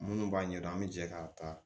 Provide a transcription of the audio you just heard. Minnu b'a ɲɛdɔn an bɛ jɛ k'a ta